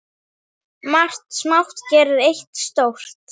Margt smátt gerir eitt stórt